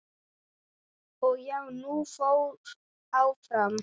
Og já, hún fór áfram!!